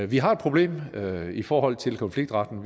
vi har et problem i forhold til konfliktretten